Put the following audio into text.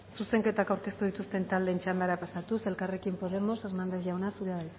zuzenketak aurkeztu dituzten taldeen txandara pasatuz elkarrekin podemos hernández jauna zurea